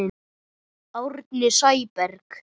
Árni Sæberg